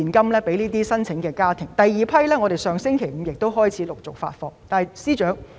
至於第二批申請，我們亦已在上星期五開始陸續發放現金。